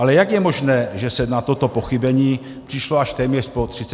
Ale jak je možné, že se na toto pochybení přišlo až po téměř 30 letech?